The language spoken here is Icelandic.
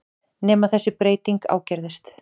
Nema þessi breyting ágerðist.